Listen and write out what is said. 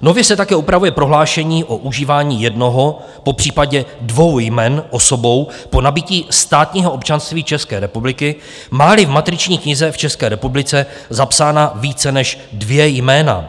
Nově se také upravuje prohlášení o užívání jednoho, popřípadě dvou jmen osobou po nabytí státního občanství České republiky, má-li v matriční knize v České republice zapsána více než dvě jména,